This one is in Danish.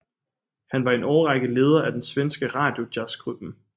Han var i en årrække leder af den svenske Radiojazzgruppen